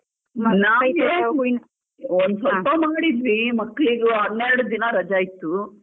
ಒಂದು ಸ್ವಲ್ಪ ಮಾಡಿದ್ವಿ ಮಕ್ಳಿಗೂ ಹನ್ನೆರಡು ದಿನ ರಜೆ ಇತ್ತು.